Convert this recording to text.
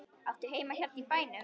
Áttu heima hérna í bænum?